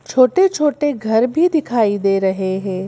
छोटे-छोटे घर भी दिखाई दे रहे हैं।